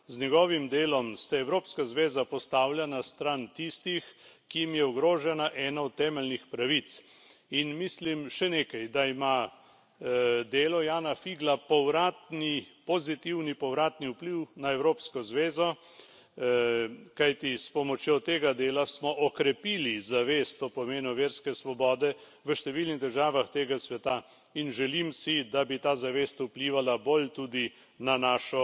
Z njegovim delom se Evropska zveza postavlja na stran tistih, ki jim je ogrožena ena od temeljnih pravic, in mislim še nekaj, da ima delo Jána Figla pozitivni povratni vpliv na Evropsko zvezo, kajti s pomočjo tega dela smo okrepili zavest o pomenu verske svobode v številnih državah tega sveta, in želim si, da bi ta zavest vplivala bolj tudi na našo